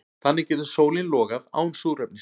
Þannig getur sólin logað án súrefnis.